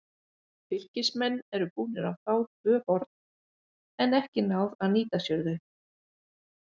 Fylkismenn eru búnir að fá tvö horn, en ekki náð að nýta sér þau.